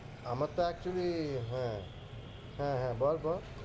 আমার তো actually হ্যাঁ হ্যাঁ, হ্যাঁ বল বল।